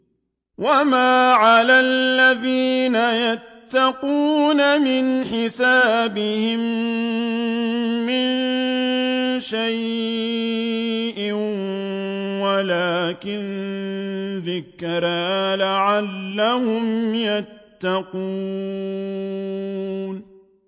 وَمَا عَلَى الَّذِينَ يَتَّقُونَ مِنْ حِسَابِهِم مِّن شَيْءٍ وَلَٰكِن ذِكْرَىٰ لَعَلَّهُمْ يَتَّقُونَ